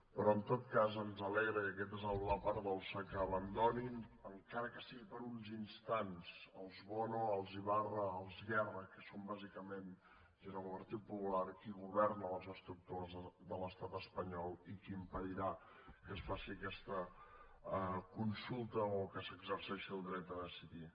però en tot cas ens alegra i aquesta és la part dolça que abandonin encara que sigui per uns instants els bono els ibarra els guerra que són bàsicament junt amb el partit popular qui governa a les estructures de l’estat espanyol i qui impedirà que es faci aquesta consulta o que s’exerceixi el dret a decidir